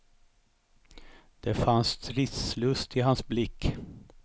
Det fanns stridslust i hans blick.